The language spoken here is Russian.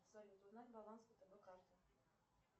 салют узнать баланс втб карты